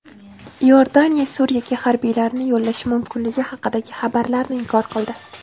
Iordaniya Suriyaga harbiylarini yo‘llashi mumkinligi haqidagi xabarlarni inkor qildi.